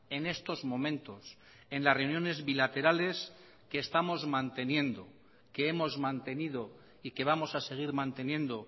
en estos momentos en las reuniones bilaterales que estamos manteniendo que hemos mantenido y que vamos a seguir manteniendo